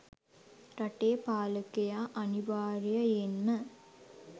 රටේ පාලකයා අනිවාර්යයයෙන්ම